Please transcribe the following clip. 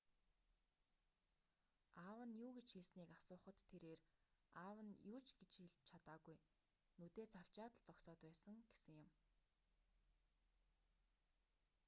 аав нь юу гэж хэлснийг асуухад тэрээр аав нь юу ч хэлж чадаагүй нүдээ цавчаад л зогсоод байсан гэсэн юм